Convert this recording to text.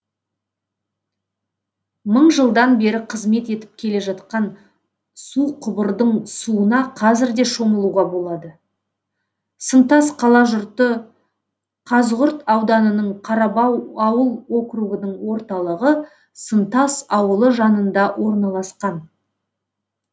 мың жылдан бері қызмет етіп келе жатқан суқұбырдың суына қазір де шомылуға болады сынтас қалажұрты қазығұрт ауданының қарабау ауыл округінің орталығы сынтас ауылы жанында орналасқан